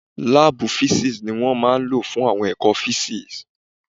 Láàbù físìksì ni wọ́n máa lò fún àwọn ẹ̀kọ́ físìksì